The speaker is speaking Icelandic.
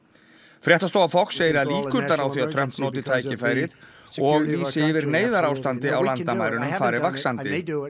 fréttastofa Fox segir að líkurnar á því að Trump noti tækifærið og lýsi yfir neyðarástandi á landamærunum fari vaxandi